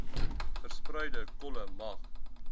verspreide kolle mag